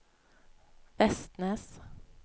Vestnes